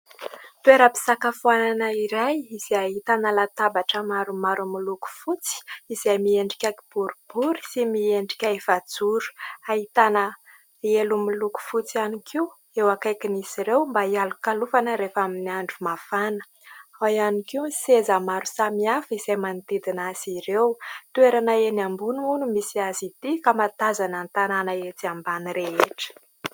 Toeram-pisakafoanana iray izay ahitana latabatra maromaro moloko fotsy izay miendrika kiboribory sy miendrika efajoro ahitana elo miloko fotsy ihany koa eo ankaikin'izy ireo mba hialokalofana rehefa amin'ny andro mafana . ao iany koa seza maro samy hafa izay manodidina azy ireo toerana eny ambony moa no misy azy ity ka matazana ny tanàna etsy ambany rehetra .